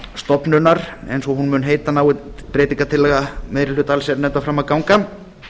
matvælastofnunar eins og hún mun heita nái breytingartillaga meiri hluta allsherjarnefndar fram að ganga